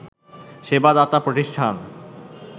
সেবা দাতা প্রতিষ্ঠান